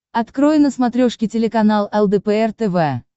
открой на смотрешке телеканал лдпр тв